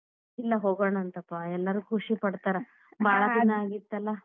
ಇಲ್ಲ ಹೋಗೋಣಾಂತ್ ಪಾ ಎಲ್ಲರೂ ಖುಷಿ ಪಡ್ತಾರ್, ದಿನಾ ಆಗಿತ್ತಲಾ.